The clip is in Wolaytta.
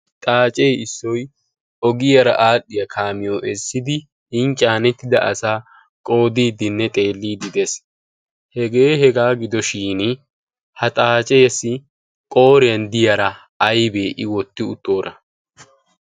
xaacee issoy ogiyaara aadhdhiyaa kaamiyo eessidi in caanettida asaa qoodiiddinne xeelliididees hegee hegaa gidoshin ha xaaceesi qooriyan diyaara aybee i wotti uttoora